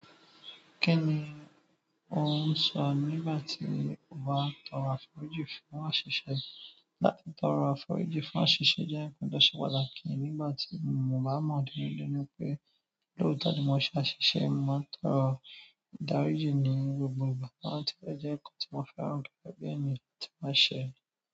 Kí ni ò ń sọ nígbà tí o bá tọrọ àforíjì fún àṣìṣe? Láti tọrọ àforíjì fún àṣìṣe jẹ́ ǹkan tó ṣe pàtàkì nígbà tí mo bá mọ̀ díẹ̀-díẹ̀ ní pé lóòótọ́ tí mo bá ṣe àṣìṣe, màá tọrọ ìdáríjì ní gbogbo ìgbà, àní tí ó jẹ́ nǹkan tí mo fẹ́ràn gẹ́gẹ́ bí ẹni tí màá ṣe.